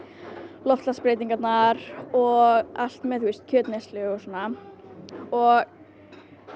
loftslagsbreytingarnar og allt með kjötneyslu og svona og